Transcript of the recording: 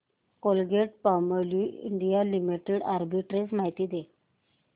Colgate Palmolive India limited arbitrage माहिती दे